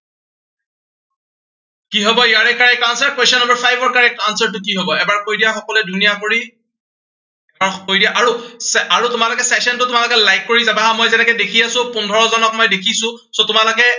কি হব ইয়াৰে correct answer ৰ question number five ৰ correct answer টো কি হব। এবাৰ কৈ দিয়া সকলোৱে ধুনীয়া কৰি আহ কৈ দিয়া, আৰু আৰু তোমালোকে session টো তোমালোকে like কৰি যাবা হা। মই যেনেকে দেখি আছো, পোন্ধৰজনক মই দেখিছো। so তোমালোকে